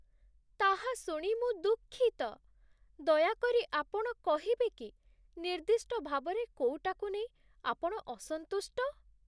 ତାହା ଶୁଣି ମୁଁ ଦୁଃଖିତ। ଦୟାକରି ଆପଣ କହିବେକି, ନିର୍ଦ୍ଦିଷ୍ଟ ଭାବରେ କୋଉଟାକୁ ନେଇ ଆପଣ ଅସନ୍ତୁଷ୍ଟ?